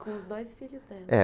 Com os dois filhos dela. É